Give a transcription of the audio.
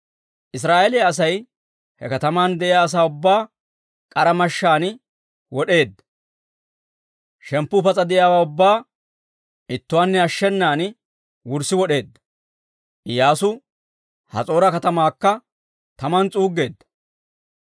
Israa'eeliyaa Asay he kataman de'iyaa asaa ubbaa k'ara mashshaan wod'eedda. Shemppu pas'a de'iyaawaa ubbaa ittuwaanne ashshenan wurssi wod'eeddino. Iyyaasu Has'oora katamaakka taman s'uuggeedda.